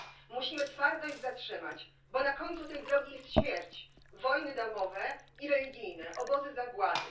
Musimy twardo ich zatrzymać, bo na końcu tej drogi jest śmierć, wojny domowe i religijne, obozy zagłady.